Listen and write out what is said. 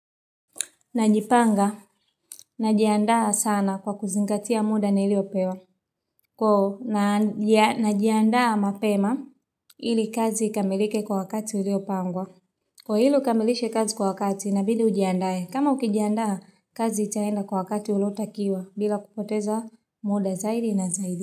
Najipanga najiandaa sana kwa kuzingatia muda niliopewa. Kwa najiandaa mapema ili kazi ikamilike kwa wakati uliopangwa. Kwa ili ukamilishe kazi kwa wakati inabidi ujiandae kama ukijiandaa kazi itaenda kwa wakati ulotakiwa bila kupoteza muda zaidi na zaidi.